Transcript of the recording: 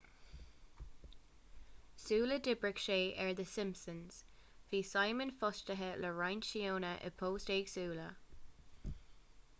sula d'oibrigh sé ar the simpsons bhí simon fostaithe le roinnt seónna i bpoist éagsúla